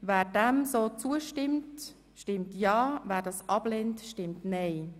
Wer diesem so zustimmt, stimmt ja, wer dies ablehnt, stimmt nein.